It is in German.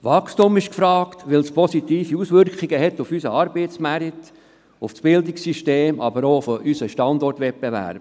Wachstum ist gefragt, weil es positive Auswirkungen auf unseren Arbeitsmarkt und auf das Bildungssystem hat, aber auch auf unsere Wettbewerbsfähigkeit.